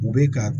U bɛ ka